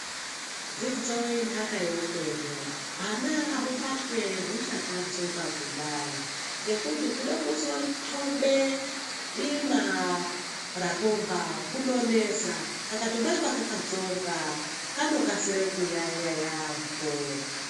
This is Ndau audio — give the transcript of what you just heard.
Dzidzo inhaka yeupenyu hwana ngahubatwe huchakatsonga kudai ngekuti kude kuzo tobe dima rakomba kunonesa kakatobatwe kakatsonga kanokasike kuyaeya yaamho.